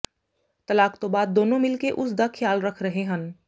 ਤਲਾਕ ਤੋਂ ਬਾਅਦ ਦੋਨੋਂ ਮਿਲ ਕੇ ਉਸ ਦਾ ਖ਼ਿਆਲ ਰੱਖ ਰਹੇ ਹਨ